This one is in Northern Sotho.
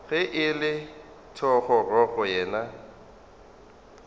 ge e le thogorogo yena